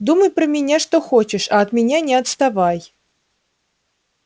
думай про меня что хочешь а от меня не отставай